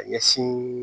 Ka ɲɛsin